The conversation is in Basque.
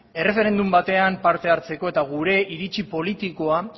erreferendum batean parte hartzeko eta gure iritzi politikoa